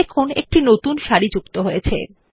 দেখুন একটি নতুন সারি যুক্ত হয়েছে